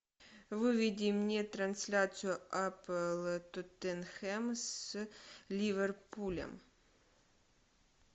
выведи мне трансляцию апл тоттенхэм с ливерпулем